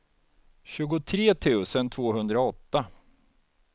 tjugotre tusen tvåhundraåtta